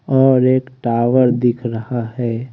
और एक टावर दिख रहा है।